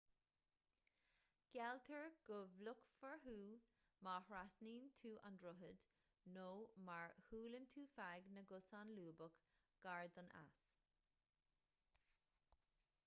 gealltar go bhfliuchfar thú má thrasnaíonn tú an droichead nó má shiúlann tú feadh na gcosán lúbach gar don eas